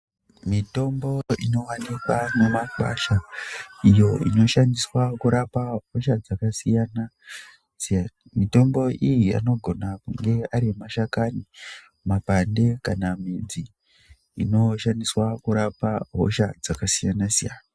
Mitombo inowanikwa mune makwasha iyo inoshandiswa kurapa hosha dzakasiyana siyana, mitombo iyi anogona kuve ari mashakani, mapande kana midzi imoshandiswa kurapa hosha dzakasiyana siyana .